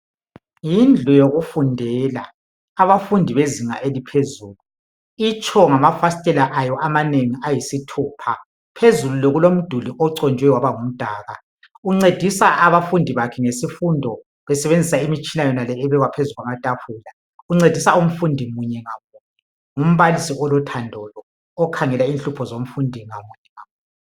Yindlu yokufundela abafundi bezinga eliphezulu , itsho ngamafasitela amanengi ayisithupha , phezulu kulomduli oconjwe waba ngumdaka , uncedisa abafundi bakhe ngesifundo besebenzisa imitshina yonale ebekwa phezu kwamatafula , uncedisa umfundi munye ngamunye , ngumbalisi olothando okhangela inhlupho yabafundi munye ngamunye